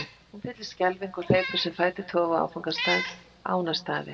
Hún fyllist skelfingu og hleypur sem fætur toga á áfangastað, Ánastaði.